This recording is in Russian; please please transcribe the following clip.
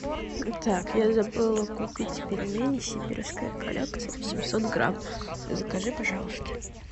так я забыла купить пельмени сибирская коллекция восемьсот грамм закажи пожалуйста